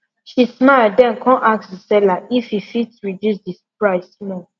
she smile then come ask the seller if e fit reduce the price small